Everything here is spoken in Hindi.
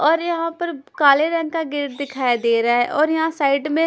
और यहां पर काले रंग का गेट दिखाई दे रहा और यहां साइड में--